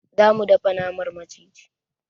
Za mu dafa naman maciji.